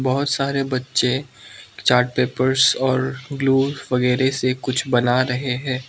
और सारे बच्चे चार्ट पेपर्स और ग्लू वगैरे से कुछ बना रहे हैं।